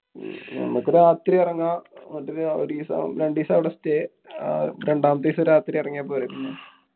നമ്മക്ക് രാത്രി ഇറങ്ങാം. ന്നിട്ട് ഒരീസം രണ്ടീസം അവടെ stay. രണ്ടാമത്തെ ദിവസം രാത്രി എറങ്ങ്യാ പോരെ പിന്നെ?